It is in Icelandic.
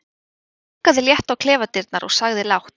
Ég bankaði létt á klefadyrnar og sagði lágt